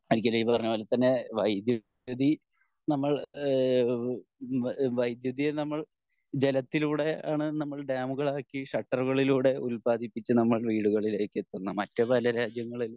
ഈ പറഞ്ഞ പോലെ തന്നെ വൈദ്യുതി നമ്മൾ ഏഹ് വൈദ്യുതിയെ നമ്മൾ ജലത്തിലൂടെ ആണ് നമ്മൾ ഡാമുകളാക്കി ഷട്ടറുകളിലൂടെ ഉൽപാദിപ്പിച്ച് നമ്മൾ വീടുകളിലേക്കു എത്തുന്നത് മറ്റു പല രാജ്യങ്ങളിൽ